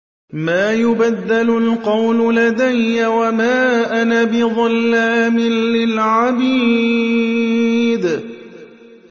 مَا يُبَدَّلُ الْقَوْلُ لَدَيَّ وَمَا أَنَا بِظَلَّامٍ لِّلْعَبِيدِ